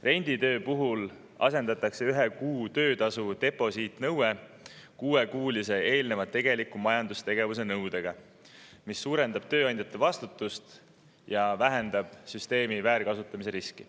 Renditöö puhul asendatakse ühe kuu töötasu deposiidi nõue kuuekuulise eelneva tegeliku majandustegevuse nõudega, mis suurendab tööandjate vastutust ja vähendab süsteemi väärkasutamise riski.